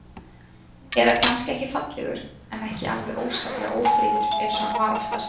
Eða kannski ekki fallegur, en ekki alveg óskaplega ófríður eins og hann var oftast.